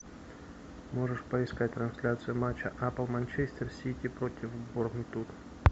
можешь поискать трансляцию матча апл манчестер сити против борнмут